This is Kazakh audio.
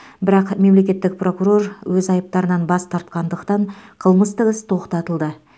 бірақ мемлекеттік прокурор өз айыптарынан бас тартқандықтан қылмыстық іс тоқтатылды